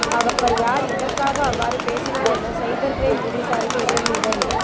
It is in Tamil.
அவர் யார் எதற்காக அவ்வாறு பேசினார் என சைபர் கிரைம் போலீசாரின் உதவியுடன்